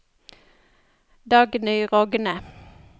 Dagny Rogne